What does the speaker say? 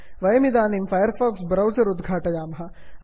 वयमिदानीं Firefox browser उद्घाटयामः